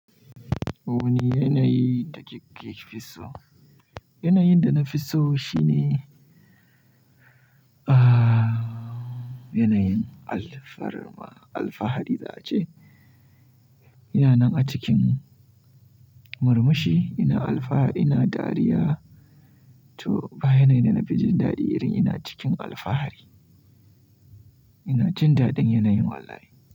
Wani yanayin da kike fi so? Yanayin da na fi so shine, yanayin alfarma alfahari za a ce. Ina nan a cikin murmushi, ina alfahari, ina dariya to bayanai da na fi jin daɗi irin ina cikin alfahari. Ina jin daɗin yanayin wallahi.